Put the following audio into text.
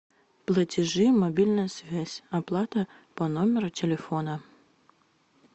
платежи мобильная связь оплата по номеру телефона